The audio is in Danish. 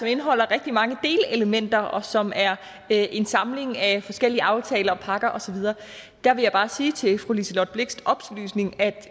indeholder rigtig mange delelementer og som er en samling af forskellige aftaler og pakker og så videre der vil jeg bare sige til fru liselott blixts oplysning at